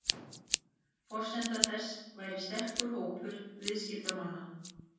Forsenda þess væri sterkur hópur viðskiptamanna